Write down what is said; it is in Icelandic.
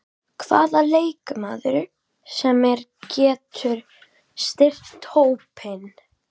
Hvaða leikmaður sem er getur styrkt hópinn.